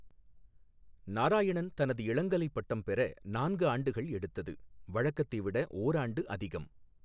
நாராயணன் தனது இளங்கலை பட்டம் பெற நான்கு ஆண்டுகள் எடுத்தது, வழக்கத்தை விட ஓராண்டு அதிகம்.